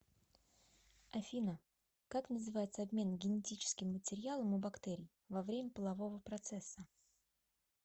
афина как называется обмен генетическим материалом у бактерий во время полового процесса